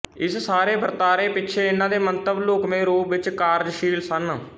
ਇਸ ਸਾਰੇ ਵਰਤਾਰੇ ਪਿੱਛੇ ਇੰਨਾਂ ਦੇ ਮੰਤਵ ਲੁਕਵੇ ਰੂਪ ਵਿੱਚ ਕਾਰਜਸ਼ੀਲ ਸਨ